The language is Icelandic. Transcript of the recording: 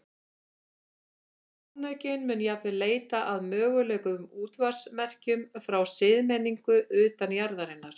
Sjónaukinn mun jafnvel leita að mögulegum útvarpsmerkjum frá siðmenningu utan jarðarinnar.